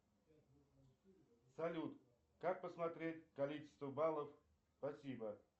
салют как посмотреть количество баллов спасибо